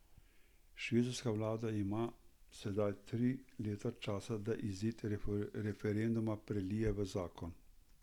Švicarska vlada ima sedaj tri leta časa, da izid referenduma prelije v zakon.